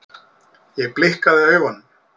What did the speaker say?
Ég blikkaði augunum.